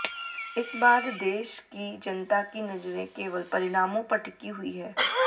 इस बाद देश की जनता की नजरें केवल परिणामों पर टिकी हुई है